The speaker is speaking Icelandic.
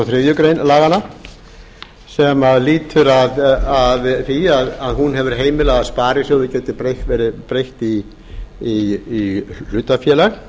þriðju grein laganna sem lýtur að því að hún hefur heimilað að sparisjóði geti verið breytt í hlutafélag